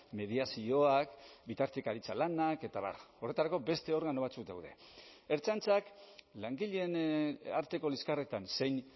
mediazioak bitartekaritza lanak eta abar horretarako beste organo batzuk daude ertzaintzak langileen arteko liskarretan zein